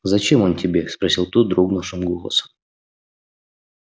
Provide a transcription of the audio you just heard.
зачем он тебе спросил тот дрогнувшим голосом